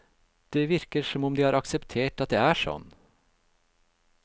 Det virker som om de har akseptert at det er sånn.